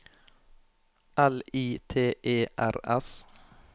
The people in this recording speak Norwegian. L I T E R S